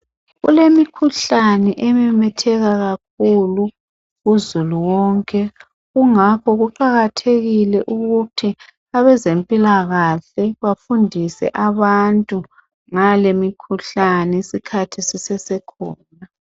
Kulemikhuhlane ememetheka kakhulu kuzulu wonke kungakho kuqakathekile ukuthi abezempilakahle bafundise abantu ngalemikhuhlane isikhathi sisesekhona.